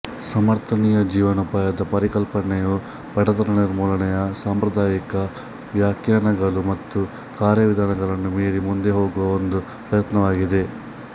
ಸಮರ್ಥನೀಯ ಜೀವನೋಪಾಯದ ಪರಿಕಲ್ಪನೆಯು ಬಡತನ ನಿರ್ಮೂಲನೆಯ ಸಾಂಪ್ರದಾಯಿಕ ವ್ಯಾಖ್ಯಾನಗಳು ಮತ್ತು ಕಾರ್ಯವಿಧಾನಗಳನ್ನು ಮೀರಿ ಮುಂದೆ ಹೋಗುವ ಒಂದು ಪ್ರಯತ್ನವಾಗಿದೆ